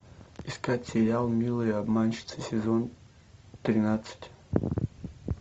искать сериал милые обманщицы сезон тринадцать